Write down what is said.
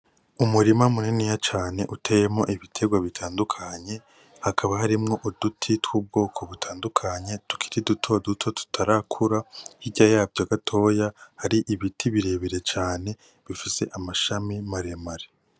Umurima muniniya cane uteyemwo ibitegwa bitandukanye, hakaba harimwo uduti tw'ubwoko butandukanye tukiri duto duto tutarakura, horta yavyo gatoyi hari ibiti birebire cane bifise amashami maremare.